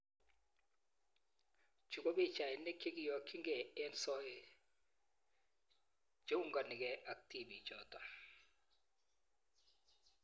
Chuu ko pichainik chekiyokchingei eng soet cheunganigei ak tipik choto